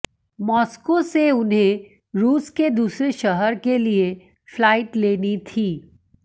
Moscow से उन्हें रूस के दूसरे शहर के लिए फ्लाइट लेनी थी